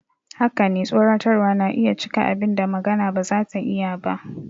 Haka ne, tsoratarwa na iya cika abin da magana ba za ta iya ba.